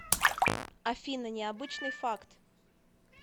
афина необычный факт